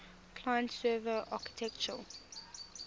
client server architecture